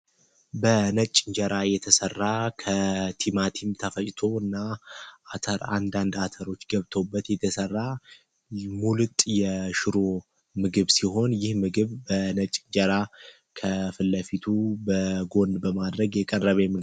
በነጭ እንጀራ እየተሰራ ከቲማቲም ተፈጅቶና አተር አንዳንድ አተሮች ገብቶበት የተሰራ ሙልጥ ምግብ ሲሆን ይህ ምግብ በነጭ ጀራ ከፍለፊቱ በጎን በማድረግ የቀረበ ነው